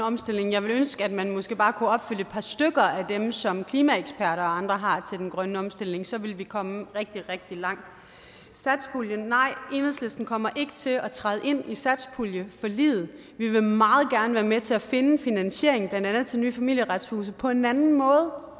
omstilling jeg ville ønske at man måske bare kunne opfylde et par stykker af dem som klimaeksperter og andre har til den grønne omstilling så ville vi komme rigtig rigtig langt satspuljen nej enhedslisten kommer ikke til at træde ind i satspuljeforliget vi vil meget gerne være med til at finde finansiering blandt andet til nye familieretshuse på en anden måde